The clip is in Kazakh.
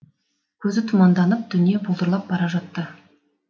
көзі тұманданып дүние бұлдырап бара жатты